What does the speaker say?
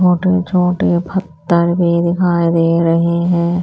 छोटे छोटे फत्तर भी दिखाई दे रहे हैं।